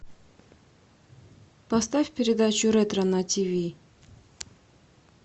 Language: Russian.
поставь передачу ретро на тиви